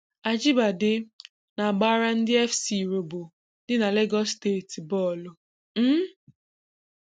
Ajibade na-agbara ndị FC Robo dị na Legọs steeti bọọlụ. um